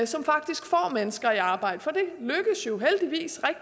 som faktisk får mennesker i arbejde for